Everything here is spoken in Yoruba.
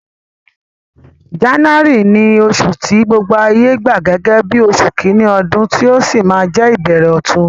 January ni osù ti gbogbo ayé gba gẹ́gẹ́ bí osù kíní odún, ti ó si ma je ìbẹ̀rẹ̀ ọ̀tun